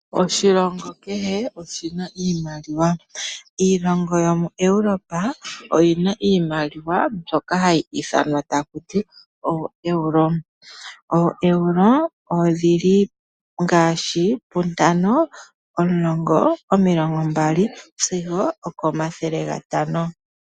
Oshilongi kehe oshi na iimaliwa . Iilongo yomoEuropa iimaliwa mbyoka hayi ithanwa taku ti ooEuro . OoEuro odhili okuza pu ntano , omulongo , omilongo mbali sigo oko mathele gantano .